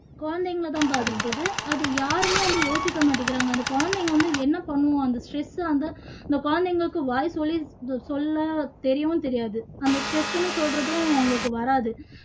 குழந்தைங்களை தான் பாதிக்குது அதை யாருமே வந்து யோசிக்க மாட்டிக்குறாங்க குழந்தைங்க வந்து என்ன பண்ணும் அந்த சிசு வந்து அந்த குழந்தைங்களுக்கு வந்து வாய் சொல்லி சொல்ல தெரியவும் தெரியாது அந்த stress ன்னும் சொல்றதும் அவங்களுக்கு வராது